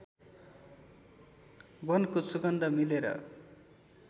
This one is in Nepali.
वनको सुगन्ध मिलेर